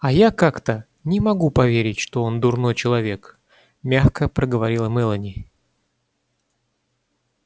а я как-то не могу поверить что он дурной человек мягко проговорила мелани